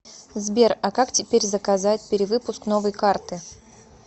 сбер а как теперь заказать перевыпуск новой карты